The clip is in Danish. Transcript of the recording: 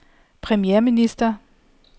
premierminister